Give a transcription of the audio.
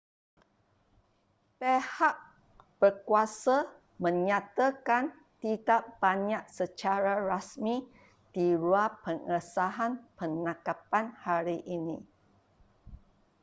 pihat berkuasa menyatakan tidak banyak secara rasmi di luar pengesahan penangkapan hari ini